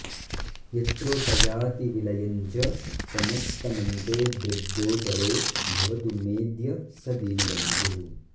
यत्रोपयाति विलयं च समस्तमन्ते दृग्गोचरो भवतु मेऽद्य स दीनबन्धुः